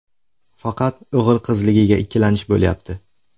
Faqat o‘g‘il-qizligiga ikkilanish bo‘lyapti.